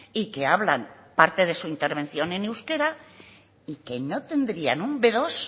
y que hablan parte de su intervención en euskera y que no tendrían un be dos